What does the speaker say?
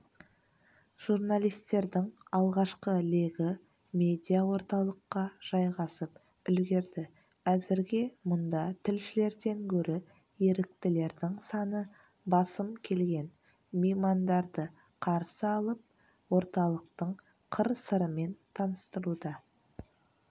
журналистердің алғашқы легі медиаорталыққа жайғасып үлгерді әзірге мұнда тілшілерден гөрі еріктілердің саны басым келген меймандарды қарсы алып орталықтың қыр-сырымен таныстыруда